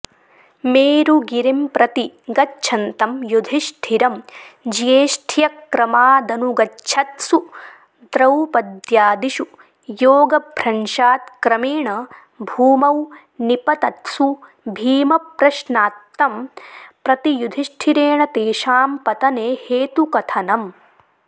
मेरुगिरिंप्रति गच्छन्तं युधिष्ठिरं ज्येष्ठ्यक्रमादनुगच्छत्सु दौपद्यादिषु योगभ्रंशात्क्रमेण भूमौ निपतत्सु भीमप्रश्नात्तं प्रति युधिष्ठिरेण तेषां पतने हेतुकथनम्